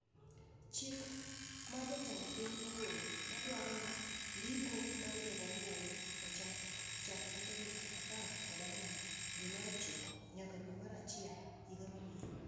Chik ma jatend piny ogolo madwaro ni ndiko mar jogo ombulu ochak chakre tarik apar kod ang'wen dwe mar ochiko nyaka dwe mar achiel higa mabiro